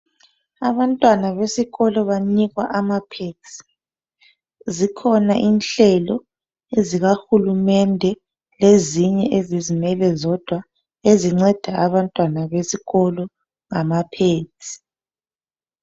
Abantwana besikolo banikwa amphenzi. Zikhona inhlelo ezikahulumende, ezinye ezizimele zodwa ezinceda abantwana lama- pads.